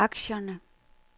aktierne